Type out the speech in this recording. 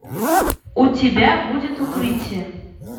у тебя будет укрытие